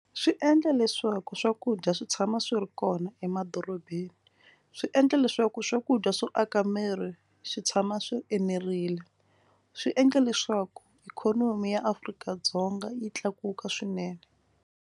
Swi endla leswaku swakudya swi tshama swi ri kona emadorobeni. Swi endla leswaku swakudya swo aka miri swi tshama swi enerile. Swi endla leswaku ikhonomi ya Afrika-Dzonga yi tlakuka swinene.